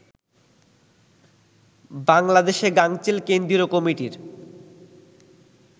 বাংলাদেশে গাঙচিল কেন্দ্রীয় কমিটির